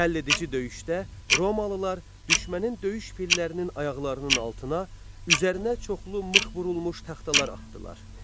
Həlledici döyüşdə Romalılar düşmənin döyüş fillərinin ayaqlarının altına üzərinə çoxlu mıx vurulmuş taxtalar atdılar.